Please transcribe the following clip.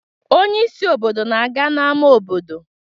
Onye isi obodo na-aga n'ámá obodo